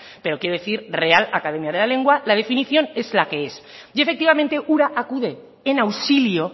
pero quiero decir real academia de la lengua la definición es la que es y efectivamente ura acude en auxilio